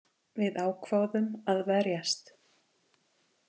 Við ákváðum að verjast